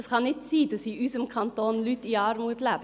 Es kann nicht sein, dass in unserem Kanton Leute in Armut leben.